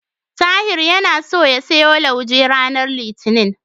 Tahir yana so ya siyo lauje ranar Litinin.